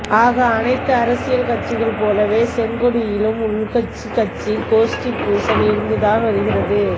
ஆக அனைத்து அரசியில் கட்சிகள் போலவே செங்கொடியிலும் உள்கட்சி கட்சி கோஷ்டி பூசல் இருந்து தான் வருகிறது